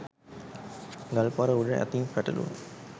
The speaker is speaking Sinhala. ගල් පර උඩ අතින් පැටළුණු